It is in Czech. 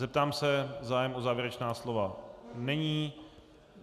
Zeptám se - zájem o závěrečná slova není.